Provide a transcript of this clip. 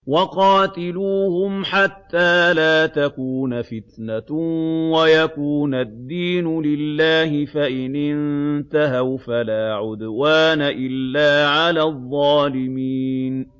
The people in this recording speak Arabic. وَقَاتِلُوهُمْ حَتَّىٰ لَا تَكُونَ فِتْنَةٌ وَيَكُونَ الدِّينُ لِلَّهِ ۖ فَإِنِ انتَهَوْا فَلَا عُدْوَانَ إِلَّا عَلَى الظَّالِمِينَ